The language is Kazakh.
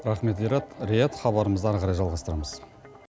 рахмет риат хабарымызды ары қарай жалғастырамыз